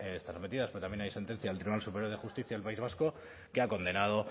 metidas pero también hay sentencia del tribunal superior de justicia del país vasco que ha condenado